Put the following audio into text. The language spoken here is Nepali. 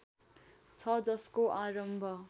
छ जसको आरम्भ